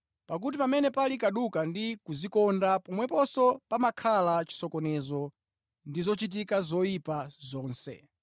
Pakuti pamene pali kaduka ndi kudzikonda pomweponso pamakhala chisokonezo ndi zochitika zoyipa zonse.